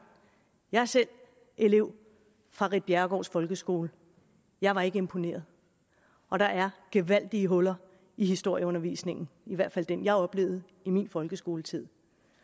jeg er selv elev fra ritt bjerregaards folkeskole jeg var ikke imponeret og der er gevaldige huller i historieundervisningen i hvert fald den jeg oplevede i min folkeskoletid